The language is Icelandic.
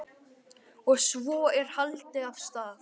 Og svo er haldið af stað.